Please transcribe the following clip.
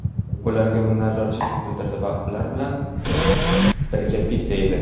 ularga minnatdorchilik bildirdi va ular bilan birga pitsa yedi.